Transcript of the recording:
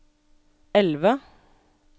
elve